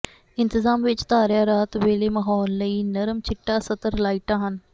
ਇੰਤਜ਼ਾਮ ਵਿਚ ਧਾਰਿਆ ਰਾਤ ਵੇਲੇ ਮਾਹੌਲ ਲਈ ਨਰਮ ਚਿੱਟਾ ਸਤਰ ਲਾਈਟਾਂ ਹਨ